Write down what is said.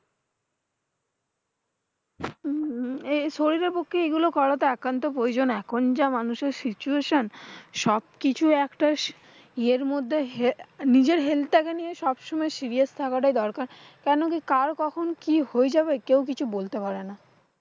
উম এই শরীরের পক্ষে এগুলো করা একান্তই প্রয়োজন এখন, যা মানুষের situation সবকিছু একটা ইয়ের মধ্যে হে নিজের helth টাকে নিয়ে সবসময় scrious থাকা দরকার। কেন কি কার কখন কি হয়ে যাবে? কেউ কিছু বলতে পারে না।